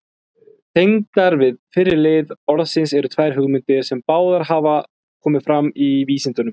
Tengdar við fyrri lið orðsins eru tvær hugmyndir, sem báðar hafa komið fram í vísindunum.